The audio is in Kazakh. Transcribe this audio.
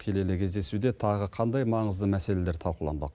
келелі кездесуде тағы қандай маңызды мәселелер талқыланбақ